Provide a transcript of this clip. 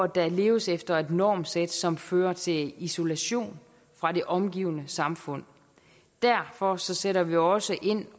der leves efter et normsæt som fører til isolation fra det omgivende samfund derfor sætter vi også ind